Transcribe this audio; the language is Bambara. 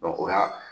o y'a